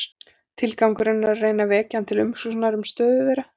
Tilgangurinn er að reyna að vekja hann til umhugsunar um stöðu þeirra.